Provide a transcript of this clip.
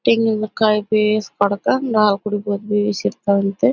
ತೆಂಗಿನಕಾಯಿ ಬೇಸ್ ಹೊಡ್ಕೊಂಡ್ ನಾವ್ ಕುಡಿಬೋದಂತೆ.